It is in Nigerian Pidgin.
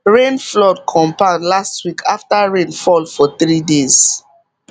rain flood compound last week after rain fall for three days